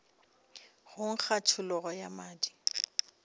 go nkga tšhologo ya madi